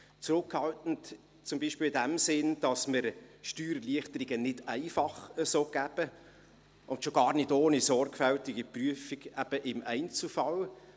Zurückhaltend zum Beispiel in dem Sinne, dass wir Steuererleichterungen nicht einfach so geben, und schon gar nicht ohne sorgfältige Prüfung im Einzelfall.